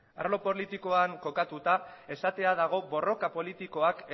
arlo politikoan kokatuta esatea dago borroka politikoak